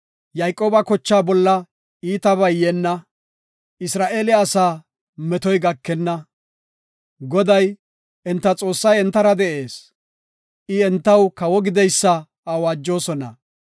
Yayqooba kochaa bolla iitabay yeenna; Isra7eele asaa metoy gakenna. Goday, enta Xoossay entara de7ees; I entaw kawo gideysa awaajosona.